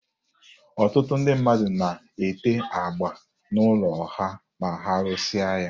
Ọtụtụ ndị mmadụ na-ete agba n'ụlọ ha ma ha rụsịa ya.